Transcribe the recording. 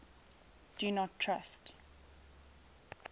do not trust